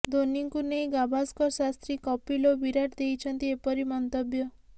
ଧୋନୀଙ୍କୁ ନେଇ ଗାଭାସ୍କର ଶାସ୍ତ୍ରୀ କପିଲ୍ ଓ ବିରାଟ ଦେଇଛନ୍ତି ଏପରି ମନ୍ତବ୍ୟ